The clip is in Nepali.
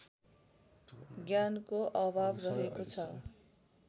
ज्ञानको अभाव रहेको छ